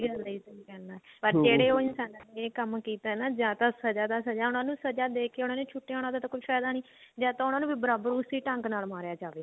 ਗੱਲ ਆ ਜੀ ਸਹੀ ਗੱਲ ਆ ਪਰ ਜਿਹੜੇ ਉਹ ਇਨਸਾਨਾ ਨੇ ਇਹ ਕੰਮ ਕੀਤਾ ਨਾ ਜਾਂ ਤਾਂ ਸਜ਼ਾ ਤਾਂ ਸਜ਼ਾ ਉਹਨਾ ਨੂੰ ਸਜ਼ਾ ਦੇ ਕਿ ਉਹਨਾ ਨੇ ਛੁਟ ਆਉਣਾ ਉਹਦਾ ਤਾਂ ਕੋਈ ਫਾਇਦਾ ਨੀ ਜਾਂ ਤਾਂ ਉਹਨਾ ਨੂੰ ਬਰਾਬਰ ਉਸੇ ਢੰਗ ਨਾਲ ਮਾਰਿਆ ਜਾਵੇ